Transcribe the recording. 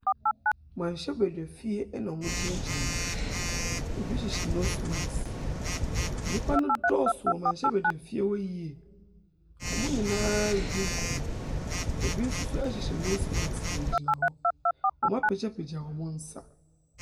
Mberahyɛbedwafie ɛna ɔmo gyinagyina. Ebi hyehyɛ nos mask. Nipa ne dɔɔso wɔ berahyɛbedwafie hɔ yie. Ɔmo nyinaa redi nkɔmɔ. Ebi soso ehyehyɛ nos mask gyinagyina hɔ. Ɔmo apegyapegya ɔmo nsa.